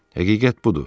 Həqiqət budur.